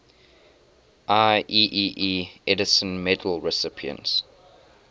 ieee edison medal recipients